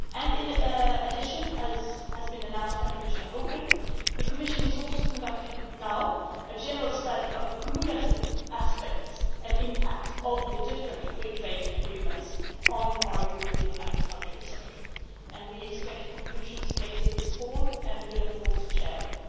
In addition, as has been announced by Commissioner Hogan, the Commission is also conducting now a general study of the cumulative aspects and impacts of the different free trade agreements on our European agricultural sector and we expect conclusions later this autumn and will of course share them.